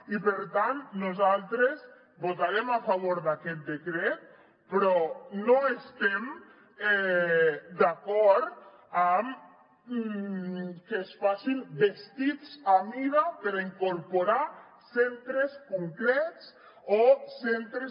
i per tant nosaltres votarem a favor d’aquest decret però no estem d’acord amb que es facin vestits a mida per incorporar centres concrets o centres